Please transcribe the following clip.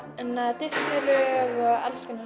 Disney lög og alls konar